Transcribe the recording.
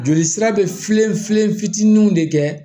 Joli sira be filen filen fitininw de kɛ